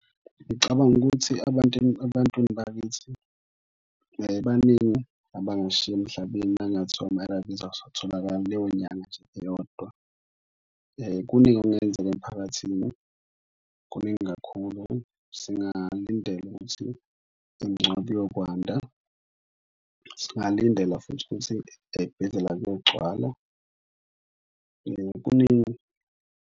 Ngicabanga ukuthi abantu ebantwini bakithi baningi abangasishiya emhlabeni uma kungathiwa ama-A_R_V's awasatholakali leyo nyanga nje eyodwa. Kuningi okungenzeka emphakathini, kuningi kakhulu singalindela ukuthi imngcwabo iyokwanda, singalindela futhi ukuthi ey'bhedlela kuyogcwala. Kuningi.